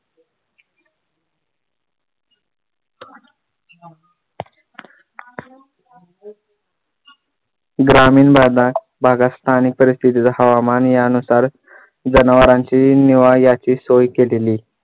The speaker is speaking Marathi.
ग्रामीण भागात भागास पाणी परिस्थितीचा हवामान या नुसार जनावरांची निवाऱ्याची सोय केलेली